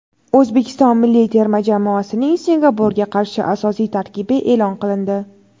O‘zbekiston milliy terma jamoasining Singapurga qarshi asosiy tarkibi e’lon qilindi:.